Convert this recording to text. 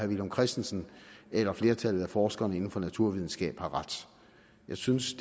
villum christensen eller flertallet af forskerne inden for naturvidenskaben har ret jeg synes